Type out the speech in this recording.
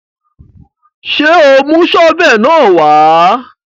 Ṣé o mú sọ́fẹ̀ náà wá?